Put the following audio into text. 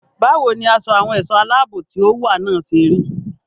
Báwo ni aṣọ àwọn ẹ̀ṣọ́ aláàbò tí ó wà náà ṣe rí?